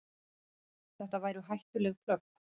Þetta væru hættuleg plögg.